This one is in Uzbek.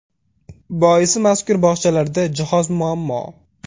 Boisi mazkur bog‘chalarda jihoz muammo.